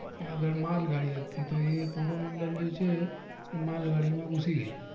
આગળ માલ ગાડી હતી તો ઈ કોરોમંડલ જે છે એ માલ ગાડી માં ઘુસી ગય